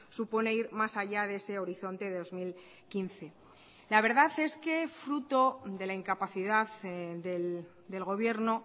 supone ir más allá de ese horizonte de dos mil quince la verdad es que fruto de la incapacidad del gobierno